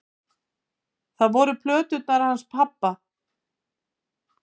Það voru plöturnar hans pabba.